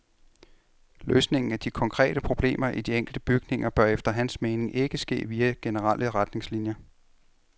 Løsningen af de konkrete problemer i de enkelte bygninger bør efter hans mening ikke ske via generelle retningslinjer.